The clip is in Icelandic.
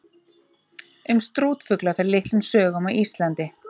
Um strútfugla fer litlum sögum á Íslandi.